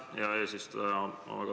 Aitäh, hea eesistuja!